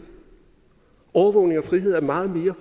overvågning og frihed er meget mere